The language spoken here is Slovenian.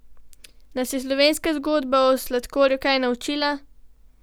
Nas je slovenska zgodba o sladkorju kaj naučila?